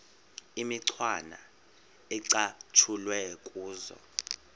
imicwana ecatshulwe kuzo